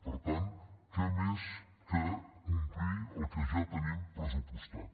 per tant què més que complir el que ja tenim pressupostat